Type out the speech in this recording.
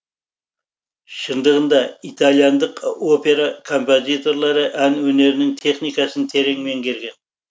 шындығында итальяндық опера композиторлары ән өнерінің техникасын терең меңгерген